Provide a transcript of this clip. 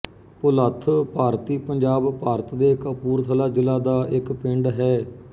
ਭੁਲੱਥ ਭਾਰਤੀ ਪੰਜਾਬ ਭਾਰਤ ਦੇ ਕਪੂਰਥਲਾ ਜ਼ਿਲ੍ਹਾ ਦਾ ਇੱਕ ਪਿੰਡ ਹੈ